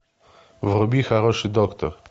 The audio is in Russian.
вруби хороший доктор